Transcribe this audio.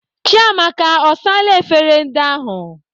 Chiamaka, ọ saala efere ndị ahụ?